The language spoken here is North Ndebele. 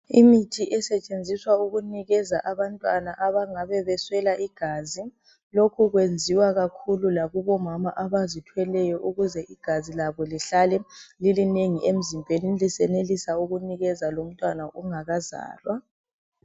Imithi esetshenziswa ukunikeza abantwana abangabe beswela igazi lokhu kuyenziwa kakhulu lakubomama abazithweleyo ukuze igazi labo lihlale lilinengi emzimbeni lisenelisa ukunikeza lomntwana ongakazalwa.